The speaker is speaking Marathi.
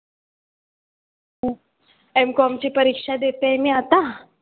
Mcom ची परीक्षा देते मी आतां.